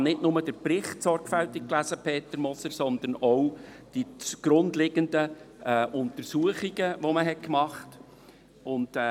Ich habe nicht nur den Bericht sorgfältig gelesen, Peter Moser, sondern auch die zugrunde liegenden Untersuchungen, die durchgeführt wurden.